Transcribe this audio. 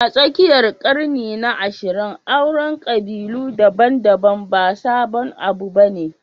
A tsakiyar ƙarni na 20, auren ƙabilu daban-daban ba sabon abu ba ne